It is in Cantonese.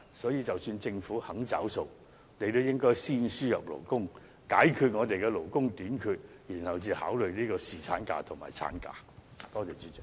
所以，即使政府願意"找數"，也應先輸入勞工，解決勞工短缺的問題後才考慮增加侍產假和產假。